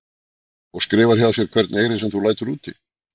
Og skrifar hjá þér hvern eyri sem þú lætur úti?